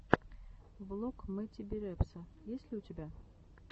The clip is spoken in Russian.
влог мэтти би репса есть ли у тебя